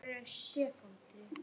Tumas, hver er dagsetningin í dag?